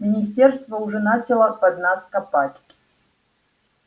министерство уже начало под нас копать